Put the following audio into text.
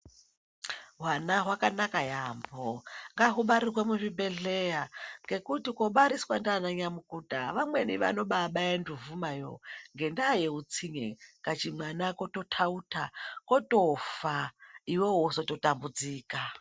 Hwana hwakanaka yambo ngahubarirwe muzvibhehleya nekuti kubariswa ndiana nyamukuta vamweni vanobabaya mbovhoma yo ngenyaya yeutsinye kamwana kototauta kotofa iwewe wotozo tambudzika.